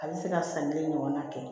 A bɛ se ka san kelen ɲɔgɔnna kɛ